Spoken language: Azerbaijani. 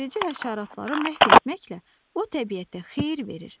Ziyanverici həşəratları məhv etməklə o təbiətə xeyir verir.